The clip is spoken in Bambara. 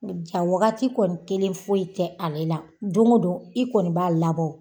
Ja wagati kɔni kelen foyi tɛ ale la. Don go don i kɔni b'a labɔ.